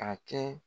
A kɛ